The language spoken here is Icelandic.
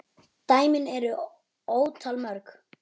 Dæmin eru ótal mörg.